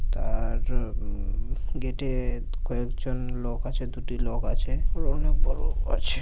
তার উ-ম-ম গেটে-এ কয়েকজন লোক আছে দুটি লোক আছে আরো অনেক বড় আছে।